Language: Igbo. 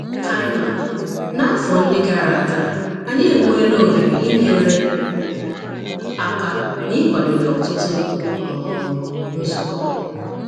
Kaima: N’afọ ndị gara aga, anyị enweela ohere inyere aka n’ịkwadebe ọtụtụ um nzukọ.